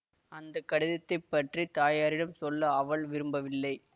அந்த கடிதத்தை பற்றி தாயாரிடம் சொல்ல அவள் விரும்பவில்லை